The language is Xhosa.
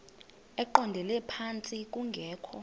eqondele phantsi kungekho